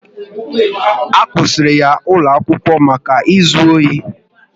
A kwusiri ya ụlọ akwụkwọ maka ịzụ ohi